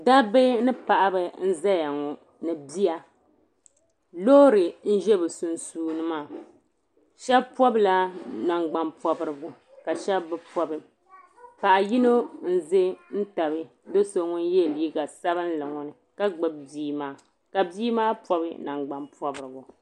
Dabba ni paɣaba n zaya ŋɔ ni bia loori n za bɛ sunsuuni maa sheba pobila nagban'pobirigu ka sheba bi pobi paɣa yino n ʒɛn tabi do'so ŋun ye liiga sabinli ŋɔ ni ka gbibi bia maa ka bia maa pobi nangban pobrigu.